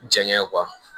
Jaŋɛ